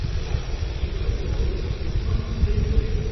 -ᱡᱚᱦᱟᱨ, ᱤᱧ ᱠᱳᱭᱮᱢᱵᱟᱴᱩᱨ ᱠᱷᱚᱱ ᱫᱤᱥᱟᱧ ᱞᱟᱹᱭ ᱮᱫᱟ ᱾